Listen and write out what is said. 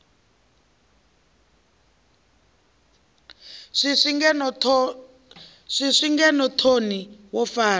swiswi ngeno thoni wo fara